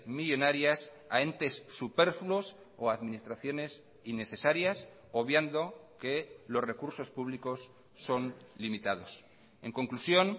millónarias a entes superfluos o a administraciones innecesarias obviando que los recursos públicos son limitados en conclusión